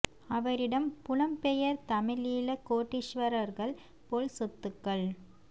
அவரிடம் புலம்பெயர் தமிழீழ கோடீஸ்வரர்கள் போல் சொத்துக்கள்